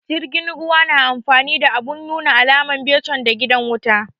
Jirgin ruwa na amfani da abun nuna alama, becon da gidan wuta